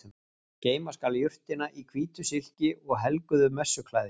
Geyma skal jurtina í hvítu silki og helguðu messuklæði.